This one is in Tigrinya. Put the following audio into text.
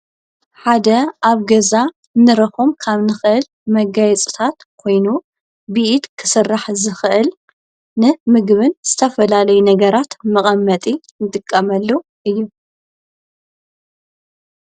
ሓደ ኣብ ገዛ ንረኾም ካብ ንኽእል መጋይ ጽታት ኮይኑ ብኢድ ክሠራሕ ዝኽእል ን ምግብን ዝተፈላለይ ነገራት መቐመጢ ትቃመሉ እዩ።